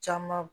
Caman